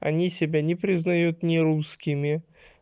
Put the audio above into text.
они себя не признают нерусскими